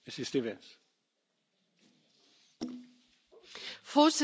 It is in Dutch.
Voorzitter, collega's, we hebben Frontex steeds gesteund.